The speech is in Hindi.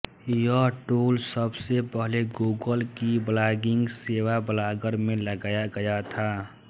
यह टूल सबसे पहले गूगल की ब्लॉगिंग सेवा ब्लॉगर में लगाया गया था